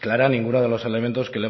clara ninguno de los elementos que